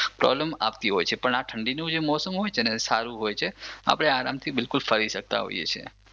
problem આપતી હોય છે પણ આ ઠંડીનું જે મોસમ હોય છે ને એ સારું હોય છે આપણે આરામથી બિલકુલ ફરી શકતા હોઈએ છે